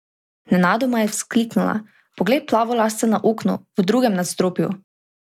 Nenadoma je vzkliknila: "Poglej plavolasca na oknu, v drugem nadstropju.